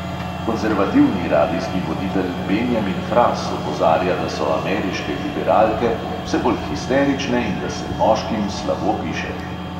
Konzervativni radijski voditelj benjamin fras opozarja, da so ameriške liberalke vse bolj histerične in da se moškim slabo piše.